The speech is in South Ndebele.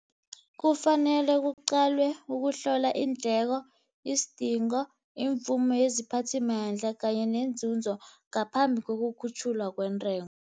Kufanele kuqalwe ukuhlola iindleko, isidingo, imvumo yeziphathimandla kanye nenzunzo ngaphambi kokukhutjhulwa kwentengo.